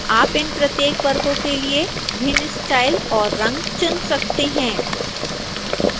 आप इन प्रत्येक वर्गों के लिए भिन्न स्टाइल और रंग चुन सकते हैं